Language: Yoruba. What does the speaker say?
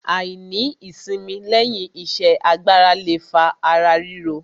Àìní ìsimi lẹ́yìn iṣẹ́ agbára le fa ara ríro.